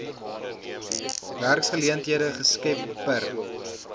werksgeleenthede geskep per